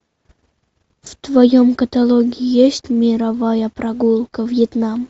в твоем каталоге есть мировая прогулка вьетнам